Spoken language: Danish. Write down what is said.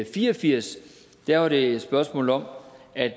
fire og firs var det et spørgsmål om at